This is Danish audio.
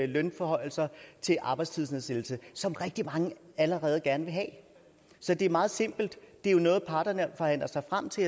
lønforhøjelser til arbejdstidsnedsættelse som rigtig mange allerede gerne vil have så det er meget simpelt det er jo noget parterne forhandler sig frem til